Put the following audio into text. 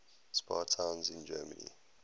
spa towns in germany